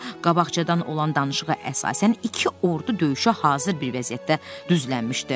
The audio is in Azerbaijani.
Burada qabaqcadan olan danışığa əsasən iki ordu döyüşə hazır bir vəziyyətdə düzlənmişdi.